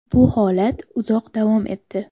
Bu holat uzoq davom etdi.